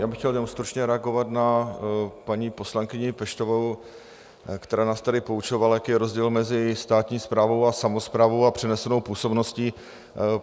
Já bych chtěl jenom stručně reagovat na paní poslankyni Peštovou, která nás tady poučovala, jaký je rozdíl mezi státní správou a samosprávou a přenesenou působností.